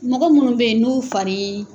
Mɔgɔ munnu bɛ yen n'u fariii.